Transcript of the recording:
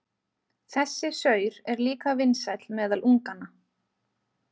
Þessi saur er líka vinsæll meðal unganna.